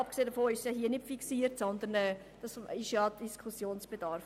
Abgesehen davon wird der Lohn hier nicht fixiert, sondern es besteht Diskussionsbedarf.